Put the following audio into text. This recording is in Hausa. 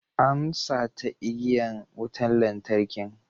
An sata igiyan wutan lantarkin.